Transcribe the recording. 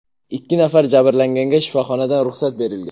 Ikki nafar jabrlanganga shifoxonadan ruxsat berilgan.